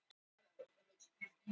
Heldur á henni að legubekknum.